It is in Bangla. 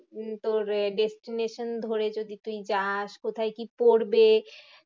উম তোর এ destination ধরে যদি তুই যাস কোথায় কি পড়বে?